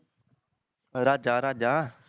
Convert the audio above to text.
ਰਾਜ਼ਾਂ ਰਾਜ਼ਾਂ